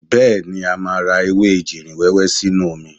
Bẹ́ẹ̀ni, a máa rẹ ewé ejìrìn wẹ́wẹ́ sínú omi.